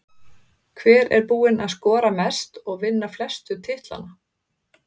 Hver er búinn að skora mest og vinna flestu titlana?